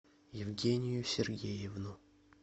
евгению сергеевну